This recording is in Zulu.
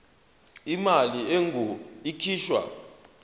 imali engur ikhishwa